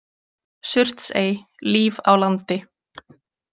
Surtsey- Líf á landi.